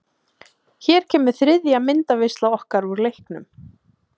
Hér kemur þriðja myndaveisla okkar úr leiknum.